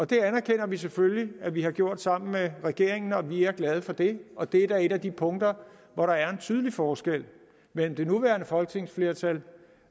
det anerkender vi selvfølgelig at vi har gjort sammen med regeringen og vi er glade for det og det er da et af de punkter hvor der er en tydelig forskel mellem det nuværende folketingsflertal